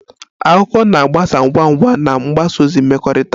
Akụkọ na-agbasa ngwa ngwa na mgbasa ozi mmekọrịta